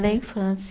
Da infância.